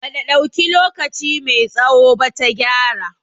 Bata dauki lokaci mai tsawo ba ta gyara